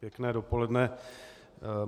Pěkné dopoledne.